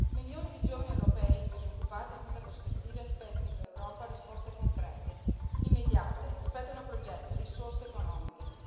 Milioni di giovani europei disoccupati e senza prospettive aspettano dall'Europa risposte concrete e immediate, aspettano progetti e risorse economiche.